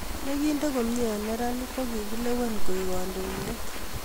ne kinde komye eng' neranik ko kikilewen koeku kandoinde